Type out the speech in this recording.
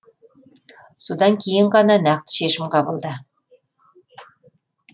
содан кейін ғана нақты шешім қабылда